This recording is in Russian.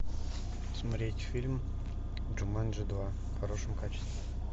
смотреть фильм джуманджи два в хорошем качестве